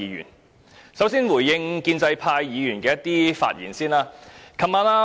首先，我想回應建制派議員的發言。